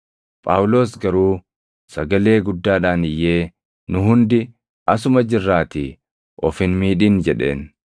Phaawulos garuu sagalee guddaadhaan iyyee, “Nu hundi asuma jirraatii of hin miidhin” jedheen.